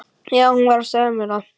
Já, hún var að segja mér það